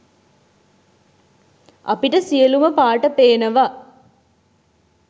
අපිට සියලුම පාට පේනව